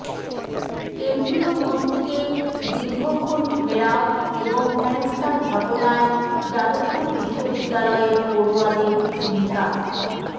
কেন্দ্রীয় মন্ত্রীকে দীর্ঘক্ষণ ঘেরাও এবং হেনস্থার ঘটনায় যাদবপুর বিশ্ববিদ্যালয়ের পড়ুয়াদের ভূমিকা